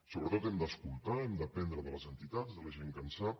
sobretot hem d’escoltar hem d’aprendre de les entitats de la gent que en sap